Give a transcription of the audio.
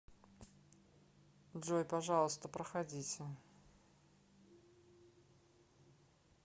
джой пожалуйста проходите